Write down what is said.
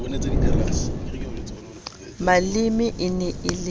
maleme e ne e le